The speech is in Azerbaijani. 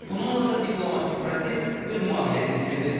Bununla da diplomatik proses öz mahiyyətini itirdi.